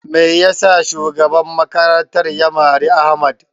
Me yasa shugaban makarantar ya mari Ahmad?